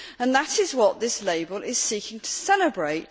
That is what this label is seeking to celebrate.